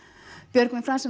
Björgvin Franz